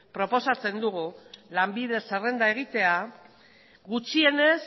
proposatzen dugu lanbide zerrenda egitea gutxienez